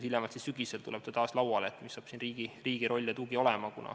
Hiljemalt sügisel tuleb taas arutelu alla, missugune siin riigi roll ja tugi on.